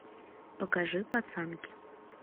покажи пацанки